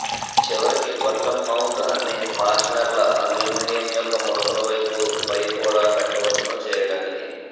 చివరికి గొట్టం మౌంట్ అన్ని ఫాస్ట్నెర్ల అల్యూమినియం యొక్క ముడతలు పైపు పై కూడా పెట్టవచ్చును చేయటానికి